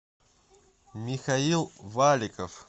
михаил валиков